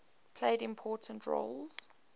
played important roles